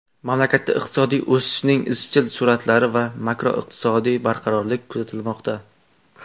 Mamlakatda iqtisodiy o‘sishning izchil sur’atlari va makroiqtisodiy barqarorlik kuzatilmoqda.